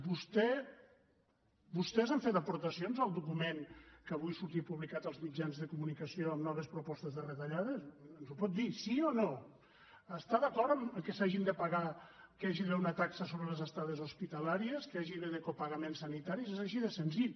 vostès han fet aportacions al document que avui sortia publicat als mitjans de comunicació amb noves propostes de retallades ens ho pot dir sí o no està d’acord que s’hagin de pagar que hi hagi d’haver una taxa sobre les estades hospitalàries que hi hagi d’haver copagament sanitari és així de senzill